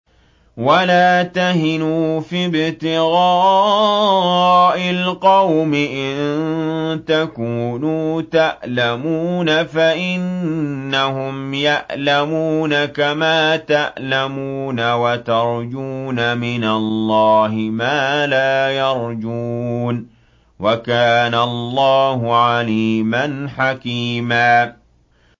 وَلَا تَهِنُوا فِي ابْتِغَاءِ الْقَوْمِ ۖ إِن تَكُونُوا تَأْلَمُونَ فَإِنَّهُمْ يَأْلَمُونَ كَمَا تَأْلَمُونَ ۖ وَتَرْجُونَ مِنَ اللَّهِ مَا لَا يَرْجُونَ ۗ وَكَانَ اللَّهُ عَلِيمًا حَكِيمًا